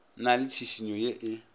na le tšhišinyo ye e